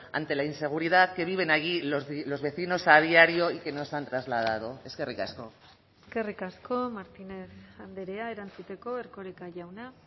ante la inseguridad que viven allí los vecinos a diario y que nos han trasladado eskerrik asko eskerrik asko martínez andrea erantzuteko erkoreka jauna